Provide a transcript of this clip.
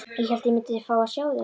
Ég hélt að ég myndi fá að sjá þig.